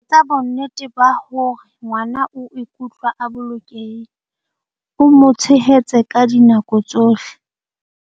Etsa bonnete ba hore ngwana o ikutlwa a bolokehile, o mo tshehetse ka dinako tsohle.